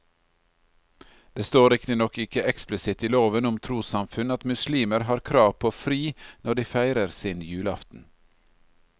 Det står riktignok ikke eksplisitt i loven om trossamfunn at muslimer har krav på fri når de feirer sin julaften.